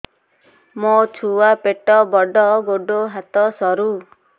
ମୋ ଛୁଆ ପେଟ ବଡ଼ ଗୋଡ଼ ହାତ ସରୁ